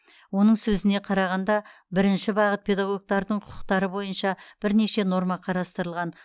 оның сөзіне қарағанда бірінші бағыт педагогтардың құқықтары бойынша бірнеше норма қарастырылған